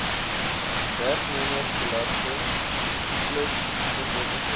werknemersbelasting plus voorlopige